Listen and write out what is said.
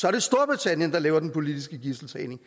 er det storbritannien der laver den politiske gidseltagning